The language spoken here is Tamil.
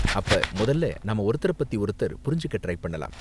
அப்ப முதல்ல நாம ஒருத்தரப் பத்தி ஒருத்தர் புரிஞ்சுக்க ட்ரை பண்ணலாம்.